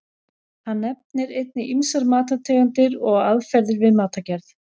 Hann nefnir einnig ýmsar matartegundir og aðferðir við matargerð.